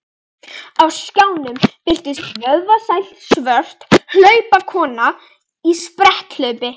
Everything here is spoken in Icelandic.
Á skjánum birtist vöðvastælt svört hlaupakona í spretthlaupi.